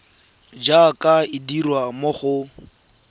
jaaka e dirwa mo go